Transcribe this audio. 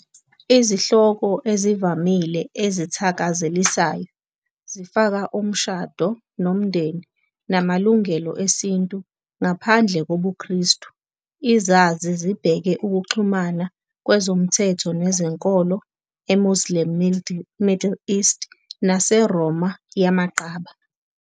Izihloko ezivamile ezithakazelisayo zifaka umshado nomndeni namalungelo esintu Ngaphandle kobuKristu, izazi zibheke ukuxhumana kwezomthetho nezenkolo eMuslim Middle East naseRoma yamaqaba.